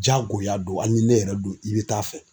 Jagoya don hali ni ne yɛrɛ don i bɛ taa fɛ.